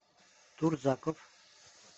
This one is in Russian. турзаков